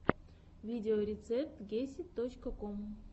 видеорецепт гесид точка ком